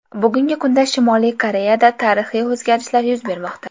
Bugungi kunda Shimoliy Koreyada tarixiy o‘zgarishlar yuz bermoqda.